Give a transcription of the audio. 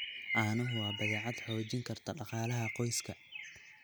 Caanuhu waa badeecad xoojin karta dhaqaalaha qoyska.